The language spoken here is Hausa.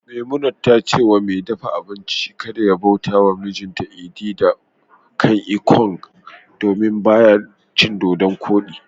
Memunant ta ce wa mai dafa abinci kada ya bauta wa mijinta edi kan ikong, domin ba ya cin dodonkodi